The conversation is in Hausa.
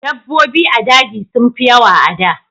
Dabobbi a daji sun fi yawa a da